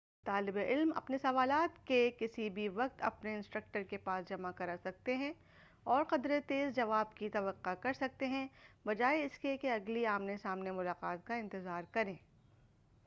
طالب علم اپنے سوالات دن کے کسی بھی وقت اپنے انسٹرکٹر کے پاس جمع کر سکتے ہیں اور قدرِ تیز جواب کی توقع کر سکتے ہیں بجائے اس کے کہ اگلی آمنے سامنے ملاقات کا انتظار کریں